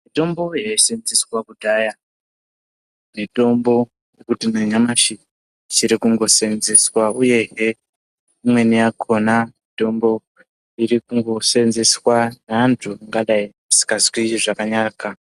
Mitombo yaisenzeswa kudhaya mitombo yekuti nanyamashi ichiri kungosenzeswa, uyehe imweni yakona mitombo irikungosenzeswa ngeantu angadai asikazwi zvakanaka.